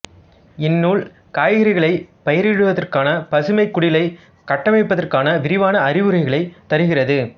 இந்நுல் காய்கறிகளைப் பயிரிடுவதற்கான பசுமைக்குடிலை கட்டியமைப்பத்ற்கான விரிவான அறிவுரைகளைத் தருகிறது